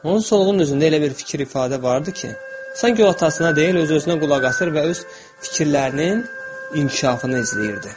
Onun solğun üzündə elə bir fikir ifadə vardı ki, sanki o atasına deyil, öz-özünə qulaq asır və öz fikirlərinin inkişafını izləyirdi.